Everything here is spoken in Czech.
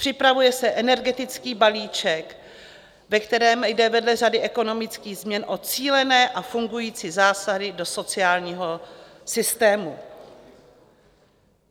Připravuje se energetický balíček, ve kterém jde vedle řady ekonomických změn o cílené a fungující zásahy do sociálního systému.